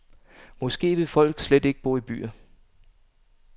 Måske vil folk slet ikke bo i byer.